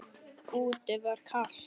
Úti var kalt.